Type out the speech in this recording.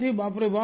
باپ رے باپ